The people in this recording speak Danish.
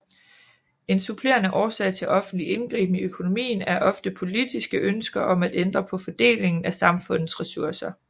En supplerende årsag til offentlig indgriben i økonomien er ofte politiske ønsker om at ændre på fordelingen af samfundets resurser